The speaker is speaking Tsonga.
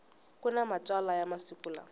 kuna matsalwa ya masiku lawa